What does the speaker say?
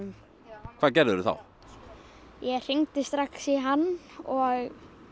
hvað gerðir þú þá ég hringdi strax í hann og